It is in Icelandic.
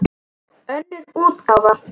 Önnur útgáfa.